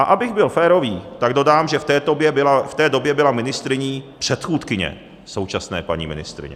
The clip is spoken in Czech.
A abych byl férový, tak dodám, že v té době byla ministryní předchůdkyně současné paní ministryně.